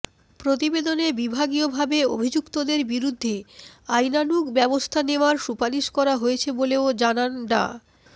প্রতিবেদনে বিভাগীয়ভাবে অভিযুক্তদের বিরুদ্ধে আইনানুগ ব্যবস্থা নেওয়ার সুপারিশ করা হয়েছে বলেও জানান ডা